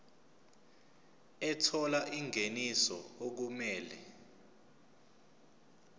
ethola ingeniso okumele